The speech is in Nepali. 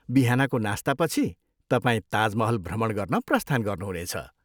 बिहानको नास्तापछि, तपाईँ ताज महल भ्रमण गर्न प्रस्थान गर्नुहुनेछ।